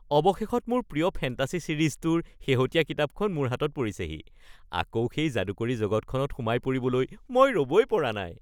অৱশেষত মোৰ প্ৰিয় ফেণ্টাছী ছিৰিজটোৰ শেহতীয়া কিতাপখন মোৰ হাতত পৰিছেহি! আকৌ সেই যাদুকৰী জগতখনত সোমাই পৰিবলৈ মই ৰ'বই পৰা নাই! (বন্ধু ১)